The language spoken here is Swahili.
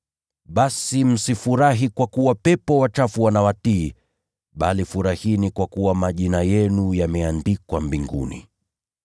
Basi, msifurahi kwa kuwa pepo wachafu wanawatii, bali furahini kwa kuwa majina yenu yameandikwa mbinguni.”